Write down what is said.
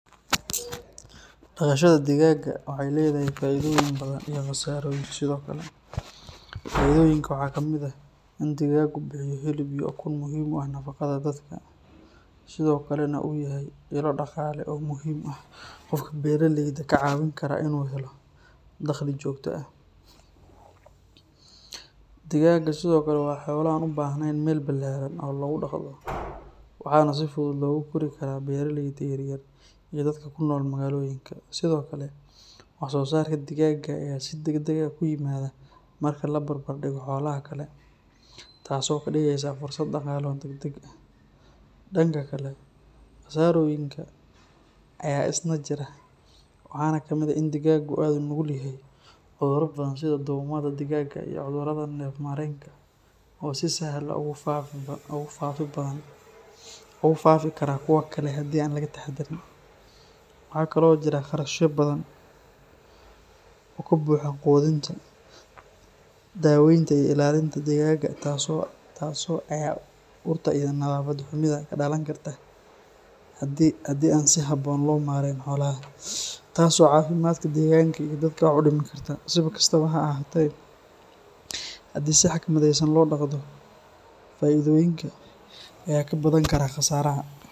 Dhaqashada digaagga waxay leedahay faa’iidooyin badan iyo qasaarooyin sidoo kale. Faa’iidooyinka waxaa kamid ah in digaaggu bixiyo hilib iyo ukun muhiim u ah nafaqada dadka, sidoo kalena uu yahay ilo dhaqaale oo muhiim ah oo qofka beeraleyda ah ka caawin kara inuu helo dakhli joogto ah. Digaagga sidoo kale waa xoolo aan u baahnayn meel ballaaran oo lagu dhaqdo, waxaana si fudud loogu kori karaa beeraleyda yar-yar iyo dadka ku nool magaalooyinka. Sidoo kale, wax soo saarka digaagga ayaa si degdeg ah ku yimaada marka la barbar dhigo xoolaha kale, taasoo ka dhigaysa fursad dhaqaale oo degdeg ah. Dhanka kale, qasaarooyinka ayaa isna jira, waxaana kamid ah in digaaggu aad ugu nugul yahay cudurro badan sida duumada digaagga iyo cudurrada neef-mareenka oo si sahal ah ugu faafi kara kuwa kale haddii aan laga taxaddarin. Waxa kale oo jira kharashyo badan oo ku baxa quudinta, daaweynta iyo ilaalinta digaagga, taasoo laga yaabo inay dhib ku noqoto dadka dhaqaalahoodu hooseeyo. Dhib kale ayaa ah urta iyo nadaafad xumida ka dhalan karta haddii aan si habboon loo maareyn xoolaha, taasoo caafimaadka deegaanka iyo dadka wax u dhimi karta. Si kastaba ha ahaatee, haddii si xikmadeysan loo dhaqdo, faa’iidooyinka ayaa ka badan kara qasaaraha.